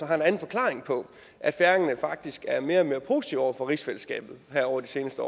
anden forklaring på at færingerne faktisk er blevet mere og mere positive over for rigsfællesskabet her over de seneste